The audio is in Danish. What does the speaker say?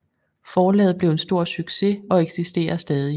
Forlaget blev en stor succes og eksisterer stadig